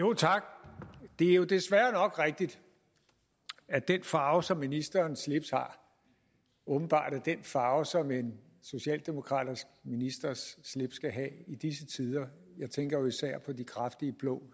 tak det er jo desværre nok rigtigt at den farve som ministerens slips har åbenbart er den farve som en socialdemokratisk ministers slips skal have i disse tider jeg tænker jo især på de kraftige blå